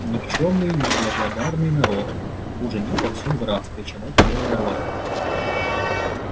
никчёмный неблагодарный народ хуже нет во всём графстве чем эта белая рвань